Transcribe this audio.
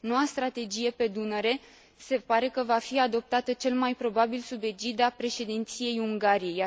Noua strategie pe Dunăre se pare că va fi aprobată, cel mai probabil, sub egida președinției Ungariei.